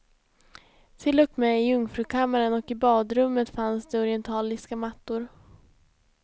Till och med i jungfrukammaren och i badrummet fanns det orientaliska mattor.